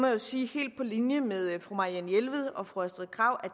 jo sige helt på linje med fru marianne jelved og fru astrid krag